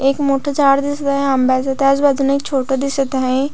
एक मोठ झाड दिसत आहे आंब्याच त्याच बाजूने एक छोट दिसत आहे.